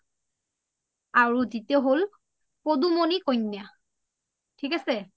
আৰু দুতীয় হ’ল পদুমনী কইনা থিক আছে